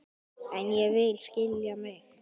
En ég vil skilja mig.